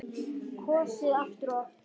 Kosið aftur og aftur?